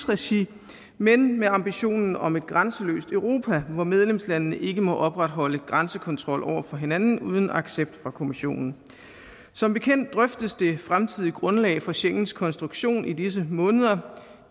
regi men med ambitionen om et grænseløst europa hvor medlemslandene ikke må opretholde grænsekontrol over for hinanden uden accept fra kommissionen som bekendt drøftes det fremtidige grundlag for schengens konstruktion i disse måneder